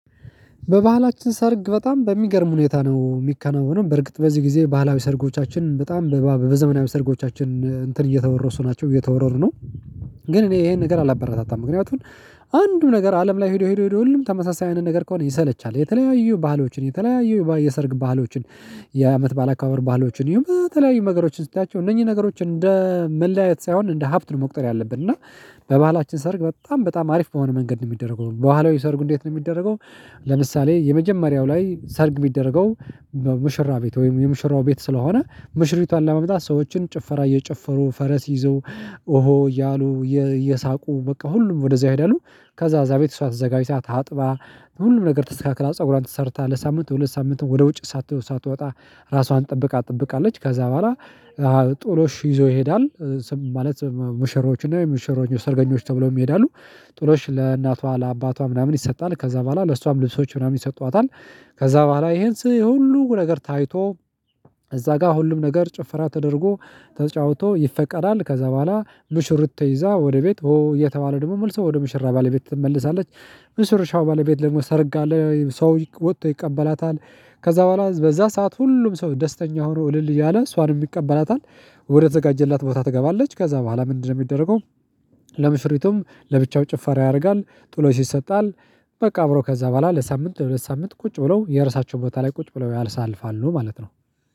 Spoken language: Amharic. በባህላችን ሰርግ በጣም በሚገርም ሁኔታ ነው የሚከናወነው በርግጥ በዚህ ጊዜ ባህላዊ ሰርጎቻችን በጣም በዘመናዊ ሰርጎቻችን እንትን እየተወረሱ ናቸው እየተወረሩ ነው። ግን እኔ ይሄን ነገር አላበረታታም ምክንያቱም አንዱ ነገር አለም ላይ ሄዶ ሄዶ ሄዶ አለም ለይ ሁሉም ተመሳሳይ አይነት ነገር ከሆነ ይሰለቻል። የተለያዩ ባህሎችን የተለያዩ የሰርግ ባህሎችን የአመት በዓል አከበበር ባህሎችን ይሁን በተለያዩ ነገሮችን ስታያቸው እነዚህ ነገሮች እንደ መለያየት ሳይሆን እንደ ሀብት ነው መቁጠር ያለብን እና። በባህላችን ሰርግ በጣም በጣም አሪፍ በሆነ መንገድ ነው የሚደረገው። በህለዊ ሰርጉ እንዴት ነው የሚደረገው? ለምሳሌ የመጀመሪያው ላይ ሰርግ የሚደረገው። በሙሽራ ቤት ወይም የሙሽራው ቤት ስለሆነ ሙሽሪቷን ለማምጣት ሰዎች ጭፈራ እየጨፈሩ ፈረስ ይዘው ኦሆ እያሉ እየሳቁ በቃ ሁሉም ወደዚያ ይሄደሉ። ከዛ እዛ ቤት እሷ ተዘጋጅታ ታጥባ ሁሉም ነገር ተስተካክላ ፀጉሯን ተሰርታ ለሳምንት ለሁለት ሳምንት ወደ ውጭ። ሳትወጣ ራሷን ጠብቃ ትጠብቃለች ከዛ በኋላ። ጦሎሽ ይዞ ይሄዳል። ማለት ሙሽሮች እና ሙሽሮኞች ሰርገኞች ተብለው ይሄዳሉ። ጥሎሽ ለእናቷ ለአባቷ ምናምን ይሰጣል ከዛ በኋላ ለእሷም ልብሶች ምናምን ይሰጧታል። ከዛ በኋላ ይሄን ስህል ሁሉ ነገር ታይቶ። እዛ ጋር ሁሉም ነገር ጭፍራ ተደርጎ ተጫውቶ ይፈቀዳል። ከዛ በኋላ ሙሽርት ተይዛ ወደ ቤት ኦ እየተባለ ደግሞ መልሰው ወደ ሙሽራ ባለቤት ትመለሳለች። ሙሽራው ባለቤት ደግሞ ሰርጋ አለ ሰው ወጥቶ ይቀበላታል። ከዛ በኋላ በዛ ሰዓት ሁሉም ሰው ደስተኛ ሆኖ እልል እያለ እሷንም ይቀበላታል። ወደ ተዘጋጀላት ቦታ ትገባለች ከዛ በኋላ ምንድነው የሚደረገው? ለሙሽሪቱም ለብቻው ጭፋራ ያደርጋል ጥሎሽ ይሰጣል። በቃ አብሮ ከዛ በኋላ ለሳምንት ለሁለት ሳምንት ቁጭ ብለው የርሳቸው ቦታ ላይ ቁጭ ብለው ያሳልፋሉ ማለት ነው